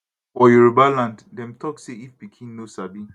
for yoruba land dem dey tok say if pikin no sabi